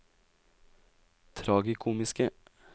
tragikomiske